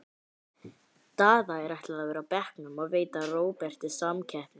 Daða er ætlað að vera á bekknum og veita Róberti samkeppni.